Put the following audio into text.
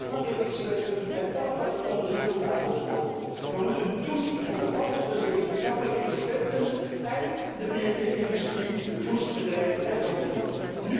Ook onafhankelijke deskundigen en onafhankelijk onderzoek moeten aan bod komen. We moeten toezien op de banden tussen wetenschappelijk deskundigen en de biotechindustrie, de voedselbedrijven en lobbygroepen.